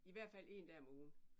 I hvert fald en dag om ugen